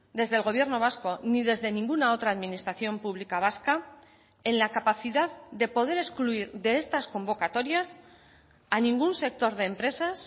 desde el gobierno vasco ni desde ninguna otra administración pública vasca en la capacidad de poder excluir de estas convocatorias a ningún sector de empresas